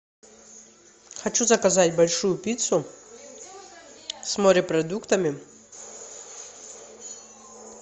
хочу заказать большую пиццу с морепродуктами